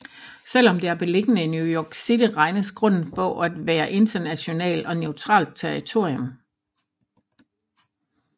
Selv om det er beliggende i New York City regnes grunden for at være internationalt og neutralt territorium